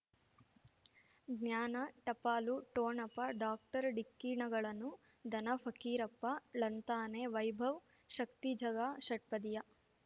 ಜ್ಞಾನ ಟಪಾಲು ಠೋಣಪ ಡಾಕ್ಟರ್ ಢಿಕ್ಕಿ ಣಗಳನು ಧನ ಫಕೀರಪ್ಪ ಳಂತಾನೆ ವೈಭವ್ ಶಕ್ತಿ ಝಗಾ ಷಟ್ಪದಿಯ